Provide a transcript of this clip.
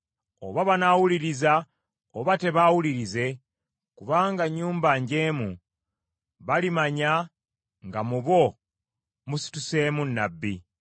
Oba banaawuliriza oba tebaawulirize, kubanga nnyumba njeemu, balimanya nga mu bo musituseemu nnabbi.